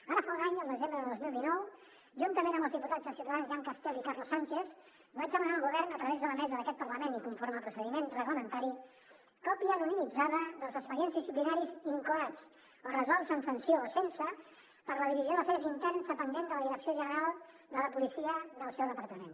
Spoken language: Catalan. ara fa un any al desembre del dos mil dinou juntament amb els diputats de ciutadans jean castel i carlos sánchez vaig demanar al govern a través de la mesa d’aquest parlament i conforme al procediment reglamentari còpia anonimitzada dels expedients disciplinaris incoats o resolts amb sanció o sense per la divisió d’afers interns dependent de la direcció general de la policia del seu departament